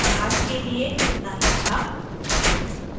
आज के लिए इतना ही था